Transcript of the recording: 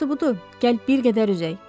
Yaxşısı budur, gəl bir qədər üzək.